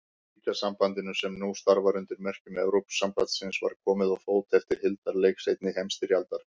Ríkjasambandinu, sem nú starfar undir merkjum Evrópusambandsins, var komið á fót eftir hildarleik seinni heimsstyrjaldar.